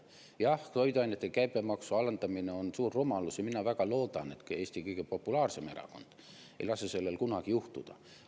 Jah, toiduainete käibemaksu alandamine on suur rumalus ja mina väga loodan, et ka Eesti kõige populaarsem erakond ei lase sellel kunagi juhtuda.